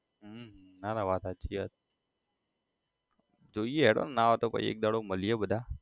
હમ ના ના વાત સાચી છે યાર જોઈએ હેડો ના હોય તો પહી એક દાડો મળીએ બધા